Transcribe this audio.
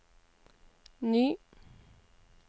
ny